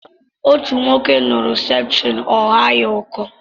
Otú nwoke ṅuru septrin ọ ghaa ya ọkọ